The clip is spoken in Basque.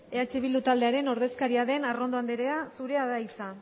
eh bildu taldearen ordezkaria den arrondo anderea zurea da hitza